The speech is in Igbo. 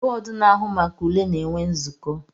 Bọdụ na-ahụ maka ule na-enwe nzuko